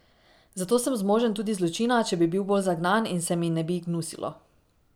Zato sem zmožen tudi zločina, če bi bil bolj zagnan in se mi ne bi gnusilo.